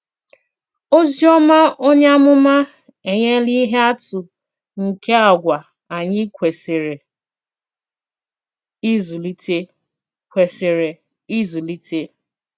Òzìòmà onye àmùmà ènỳèlà ìhé àtụ̀ nke àgwà ànyị̀ kwesìrè ìzụlìtè. kwesìrè ìzụlìtè.